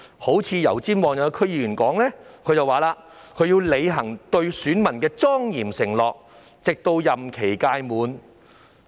一名油尖旺區議員表示，他要履行對選民的莊嚴承諾，直至任期屆滿。